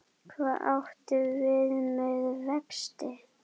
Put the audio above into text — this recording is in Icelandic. Hvað áttu við með vexti?